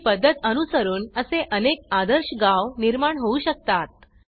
ही पद्धत अनुसरून असे अनेक आदर्श गाव निर्माण होऊ शकतात